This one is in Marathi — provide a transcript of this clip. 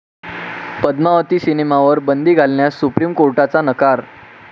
पद्मावती' सिनेमावर बंदी घालण्यास सुप्रीम कोर्टाचा नकार